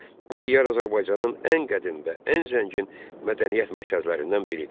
Bu diyar Azərbaycanın ən qədim və ən zəngin mədəniyyət mərkəzlərindən biridir.